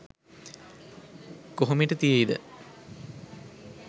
කොහමෙට තියෙයිද